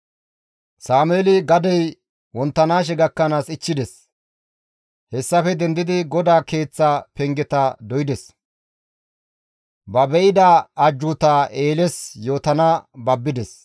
Sameeli gadey wonttanaashe gakkanaas ichchides; hessafe dendidi GODAA keeththa pengeta doydes; ba be7ida ajjuutaa Eeles yootana babbides.